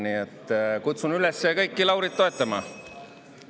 Nii et kutsun üles kõiki Laurit toetama.